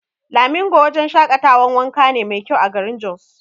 Lamingo wajan shaƙatawan wanka ne mai kyau a garin Jos